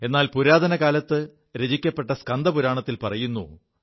എാൽ പുരാതന കാലത്തു രചിക്കപ്പെ സ്കന്ദപുരാണത്തിൽ പറയുു